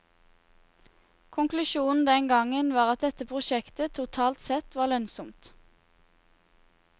Konklusjonen den gangen var at dette prosjektet totalt sett var lønnsomt.